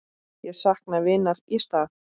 Ég sakna vinar í stað.